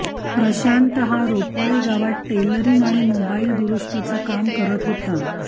प्रशांत हा रोपळे गावात टेलरिंग आणि मोबाईल दुरूस्तीचं काम करत होता